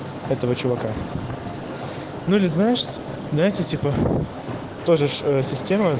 этого чувака ну или знаешь да типа тоже система